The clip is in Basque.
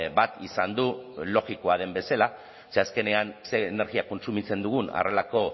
bat izan du logikoa den bezala ze azkenean ze energia kontsumitzen dugun horrelako